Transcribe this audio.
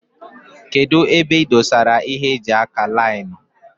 Kedụ ebe ị dosara ịhe eji ákà laịnu.